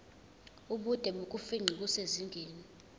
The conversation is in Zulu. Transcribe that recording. ubude bokufingqa kusezingeni